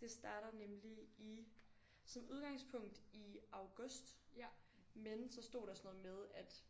Det starter nemlig i som udgangspunkt i august men så stod der sådan noget med at